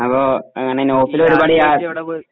ആ അപ്പൊ അങ്ങനെ നൗഫലും ഒരുപാടു യ